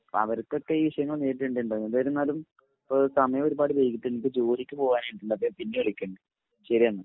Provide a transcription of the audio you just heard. അപ്പൊ അവർക്കൊക്കെ ഇ വിഷയങ്ങൾ നേരിടേണ്ടതുണ്ട് എന്നിരുന്നാലും ഇപ്പൊ സമയൊരുപാട് വൈകീട്ടുണ്ട് ഇന്ക ജോലിക് പോവാനായിട്ട്ണ്ട് അപ്പൊ ഞാൻ പിന്നെ വിളിക്കണ്ട് ശെരി എന്ന